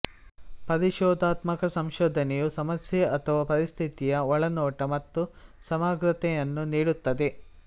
ಪರಿಶೋಧಾತ್ಮಕ ಸಂಶೋಧನೆಯು ಸಮಸ್ಯೆ ಅಥವಾ ಪರಿಸ್ಥಿತಿಯ ಒಳನೋಟ ಮತ್ತು ಸಮಗ್ರತೆಯನ್ನು ನೀಡುತ್ತದೆ